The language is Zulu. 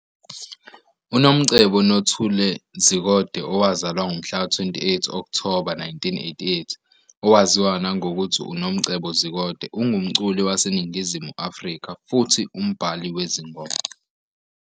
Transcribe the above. UNomcebo Nothule Zikode, owazalwa ngomhlaka 28 Okthoba 1988, owaziwa nangokuthi uNomcebo Zikode, ungumculi waseNingizimu Afrika futhi umbhali wezingoma.